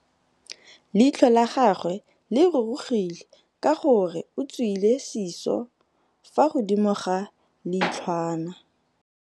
Leitlhô la gagwe le rurugile ka gore o tswile sisô fa godimo ga leitlhwana.